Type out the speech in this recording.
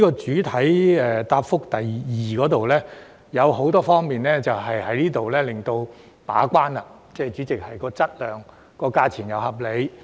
主體答覆第二部分提到很多方面的把關工作，務求在質量和價錢上均屬合理。